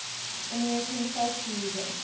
american folk music